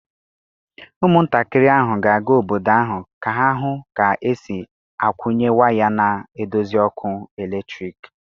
Ụmụntakịrị ahụ ga-aga obodo ahụ ka ha hụ ka e si akwunye way na-edozi ọkụ eletrik.